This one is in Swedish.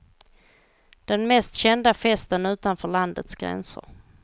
Den mest kända festen utanför landets gränser.